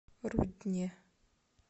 рудне